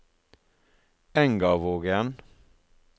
Engavågen